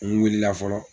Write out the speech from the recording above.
N wulila fɔlɔ